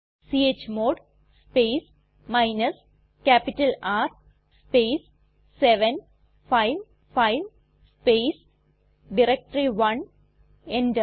chmod space minus capital R space 755 space directory one enter